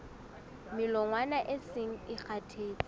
melongwana e seng e kgathetse